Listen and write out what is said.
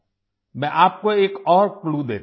मैं आपको एक और क्लू देता हूं